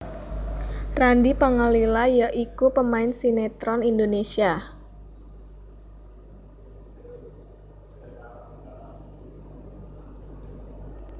Randy Pangalila ya iku pemain sinetron Indonesia